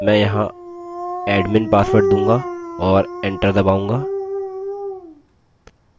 मैं यहाँ admin pasward दूंगा और enter दबाऊँगा